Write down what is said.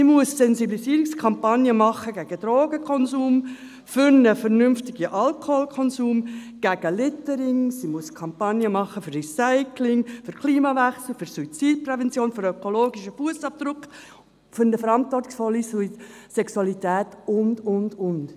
Sie muss eine Sensibilisierungskampagne machen gegen Drogenkonsum, für einen vernünftigen Alkoholkonsum, gegen Littering, sie muss Kampagnen machen für Recycling, für den Klimawechsel, für Suizidprävention, für den ökologischen Fussabdruck, für eine verantwortungsvolle Sexualität und, und, und.